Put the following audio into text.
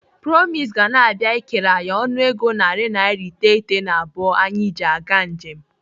Promise ga na-abịa ikere anyị ọnụego naira narị iteghete na abụọ anyị ji aga njem.